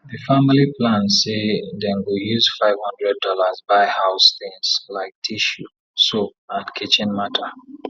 di family plan say dem go use five hundred dollars buy house things like tissue soap and kitchen matter